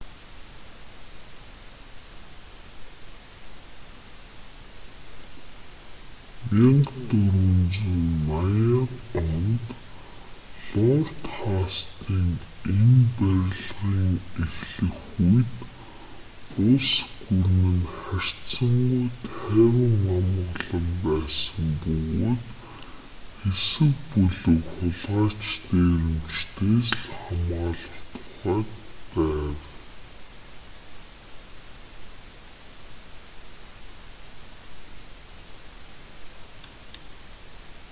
1480-д онд лорд хастинг энэ барилгын эхлэх үед улс гүрэн нь харьцангүй тайван амгалан байсан бөгөөд хэсэг бүлэг хулгайч дээрэмчидээс л хамгаалах тухайд байв